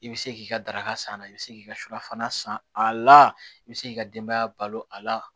I bɛ se k'i ka daraka san a la i bɛ se k'i ka sutarafana san a la i bɛ se k'i ka denbaya balo a la